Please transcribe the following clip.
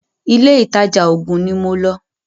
ilé ìtajà oògùn ní mo lọ́.